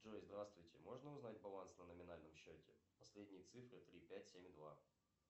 джой здравствуйте можно узнать баланс на номинальном счете последние цифры три пять семь два